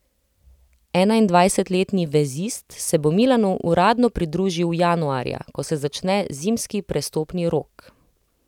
Enaindvajsetletni vezist se bo Milanu uradno pridružil januarja, ko se začne zimski prestopni rok.